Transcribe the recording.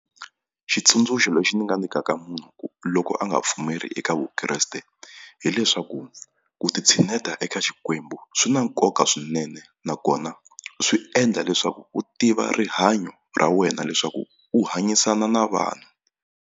Xitsundzuxo lexi ndzi nga nyikaka munhu loko a nga pfumeli eka Vukreste hileswaku ku ti tshineta eka xikwembu swi na nkoka swinene nakona swi endla leswaku u tiva rihanyo ra wena leswaku u hanyisana na vanhu.